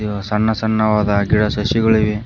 ಸಣ್ಣ ಸಣ್ಣ ವಾದ ಗಿಡ ಸಸಿಗಳು ಇವೆ.